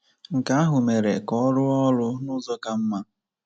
Nke ahụ mere ka ọ rụọ ọrụ n’ụzọ ka mma.